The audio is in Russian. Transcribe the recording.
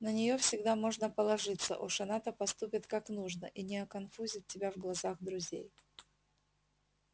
на нее всегда можно положиться уж она-то поступит как нужно и не оконфузит тебя в глазах друзей